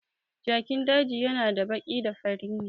Jakin daji na da baki da fari ne